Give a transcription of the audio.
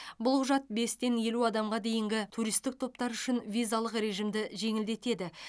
бұл құжат бестен елу адамға дейінгі туристік топтар үшін визалық режимді жеңілдетеді